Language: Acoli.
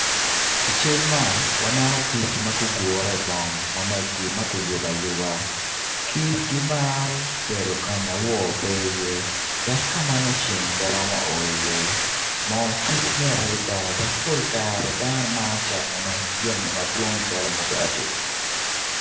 I cal man waneno kic ma gugure i bong ma ki yubo ayuba kic gimaro bedo ka ma wo pe iye dok ka ma ceng pe romo o iye mo kic mit adada dok kicamo ki mugati.